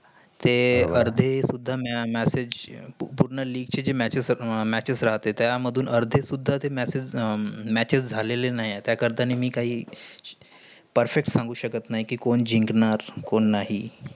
तेय अर्धे सुद्धा matches पूर्ण league matches रातेत त्या मधुन अर्धे सुध्दा matches झालेलं नाही. त्या करिता मी काही perfect सांगु शकत नाही. कि कोण जिकणारं? कोण नाही.